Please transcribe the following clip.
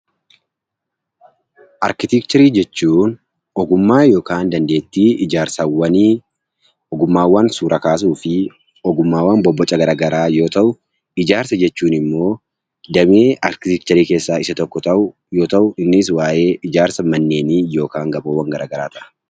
Arkiteekcharii jechuun ogummaa yookiin dandeettii waa ijaaruu, ogummaawwan suura kaasuu fi ogummaawwan bobboca garaagaraa yoo ta'u, ijaarsa jechuun immoo damee arkiteekcharii keessaa tokko yoo ta'u, innis waa'ee ijaarsa manneenii yookaan gamoowwan garaagaraadha.